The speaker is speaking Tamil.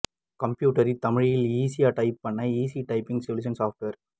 கம்ப்யூட்டரில் தமிழில் ஈஸியா டைப் பண்ண ஈஸி டைப்பிங் சொலுஷன்ஸ் சாப்ட்வேர்